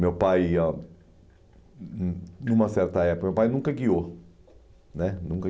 Meu pai ia hum numa certa época, nunca guiou né nunca